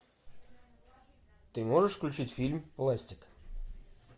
ты можешь включить фильм ластик